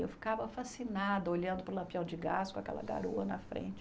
Eu ficava fascinada olhando para o Lampião de Gás com aquela garoa na frente.